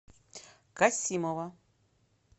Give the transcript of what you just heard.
касимова